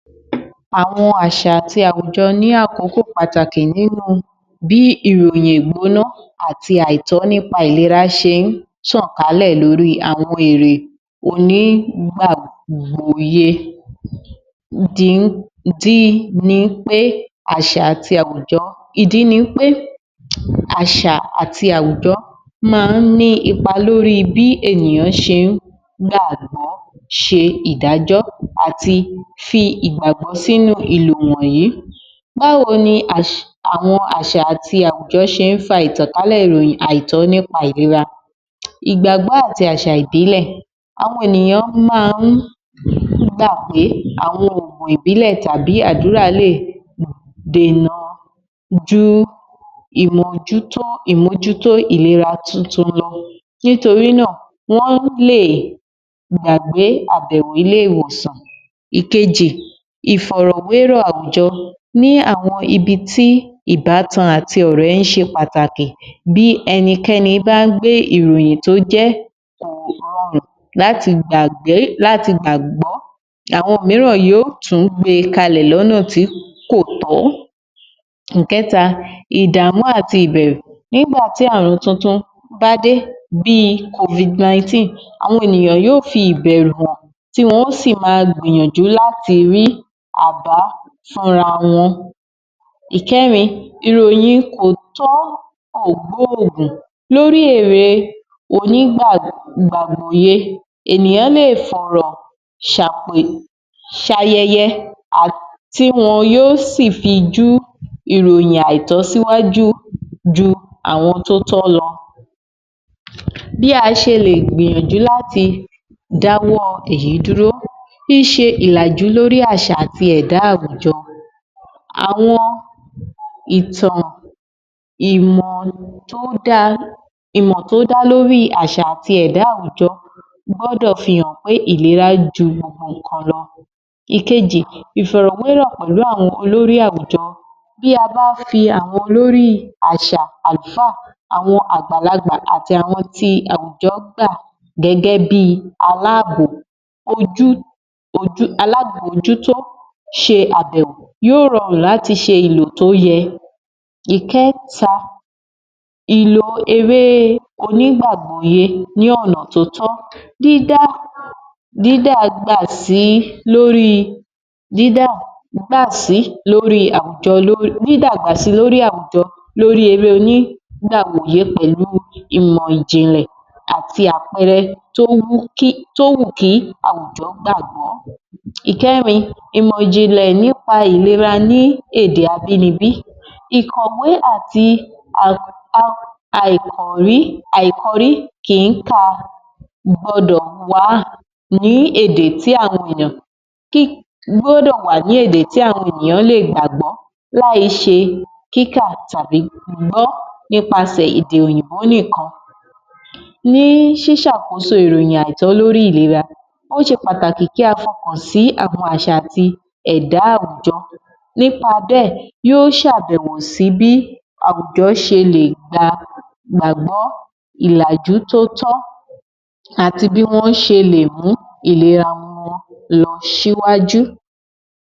Àwọn àṣà àti àwùjọ ní àkókò pàtàkì nínú bí ìròyìn ìgbóná àti àìtọ́ nípa ìlera ṣe ń tàn kálẹ̀ lóri àwọn èrè onígbàgbóye, ìdí ni wí pé àṣà àti àwùjọ máa ń ní ipa lóri bí ènìyàn ṣe ń gbàgbọ́, ṣe ìdàjọ́ àti fi ìgbagbọ́ sínu ìlọ̀ wọ̀nyí. Báwo ni àwọn àṣà àti àwùjọ ṣe ń fa ìtankálẹ́ ìròyìn àìtọ́ nípa ìlera, ìgbàgbọ́ àti àwọn àṣà ìbílẹ̀, àwọn ènìyàn máa ń gbà pé àwọn ò mọ ìbílẹ̀ tàbí àdúrà lè dèna ju ìmójútó ìlera tuntun lọ nítorí náà wọ́n lè gbàgbé àbẹ̀wò ilè-ìwòsàn. Ìkejì, ìfọ̀rọ̀wérọ̀ àwùjọ, ní àwọn ibi tí ìbátan àti ọ̀rẹ́ ń ṣe pàtàkì, bí ẹnikẹni bá gbé ìròyìn tó jẹ́ láti gbàgbé, láti gbàgbọ́ àwọn míràn yóò tún gbé kalẹ̀ lọ́nà tí kò tọ́. Ìkẹ́ta, ìdàmú àti ìbẹ̀rù, nígbà tí àrùn tuntun bá dé bí (Covid-19), àwọn ènìyàn yóò fi ìbẹ̀rù hàn, tí wọn ó sì ma gbìyànjú láti rí àbá fún ra wọn. Ìkẹ́rin, ìròyìn òótọ́ ò gbóògùn lórí èrè onígbàgbòye ènìyàn lè fọ̀rọ̀ ṣàpè, ṣayẹyẹ, tí wọn yóò sì fi ju ìròyìn àìtọ́ síwájú ju àwọn tó tọ́ lọ. Bí a ṣe lè gbìyànjú láti dáwọ́ èyí dúró, ṣíṣe ìlàjú lórí àṣà àti ẹ̀dá àwùjọ, àwọn ìtàn ìmọ̀ tó dá lóri àṣà àti ẹ̀dá àwùjọ gbọ́dọ̀ fi hàn pé ìlera ju gbogbo nǹkan lọ. Ìkejì, ìfọ̀rọ̀wérò pẹ̀lú àwọn olórí àwùjọ, bí a bá fi àwọn olórí àṣà, àlúfà, àwọn àgbàlagbà àti àwọn tí àwùjọ gba gẹ́gẹ́ bí aláàbò alámòjútó ṣe àbẹ̀wò yóò rọrùn láti ṣe ìlò tó yẹ. Ìkẹ́ta, ìlò eré onígbàgbòye ní ọ̀nà tó tọ́, dídàgbà si lórí àwùjọ lóri eré onígbàgbòye pẹ̀lú ìmọ̀ ìjìnlẹ̀ àti àpẹẹrẹ tó wù kí àwùjọ gbàgbọ́. Ìkẹ́rin, ìmọ̀ ìjìnlẹ̀ nípa ìlera ní èdè abínibí, ìkọ̀wé àti àikọrí kì ń ka gbọdọ̀ wà ní èdè tí àwọn ènìyàn lè gbàgbọ́ láì ṣe kíkà tàbí gbígbọ́ nípasẹ̀ èdè òyìnbó nìkan. Ní ṣíṣàkóso ìròyìn àìtọ́ lóri ìlera, ó ṣe pàtàkì kí a fọkàn sí àwọn àṣà àti ẹ̀dá àwùjọ nípa bẹ́ẹ̀ yóò ṣàbẹ̀wò sí bí àwùjọ ṣe lè gbàgbọ́ ìlàjú tó tọ́ àti bí wọ́n ṣe lè mú ìlera wọn lọ síwájú.